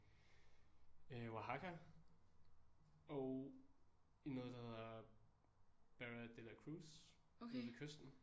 Øh Oaxaca og i noget der hedder Barra de la Cruz nede ved kysten